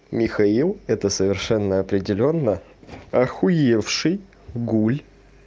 михаил это совершенно определённо ахуевший гуль